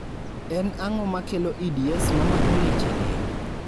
en ang'o makelo EDS mamako leche del?